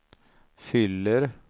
fyller